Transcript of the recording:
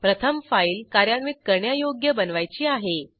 प्रथम फाईल कार्यान्वित करण्यायोग्य बनवायची आहे